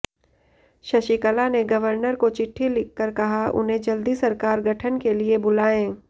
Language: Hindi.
शशिकला ने गवर्नर को चिट्ठी लिखकर कहा उन्हें जल्दी सरकार गठन के लिए बुलाएं